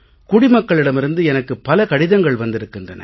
குடிமக்களிடமிருந்து எனக்குப் பல கடிதங்கள் வந்திருக்கின்றன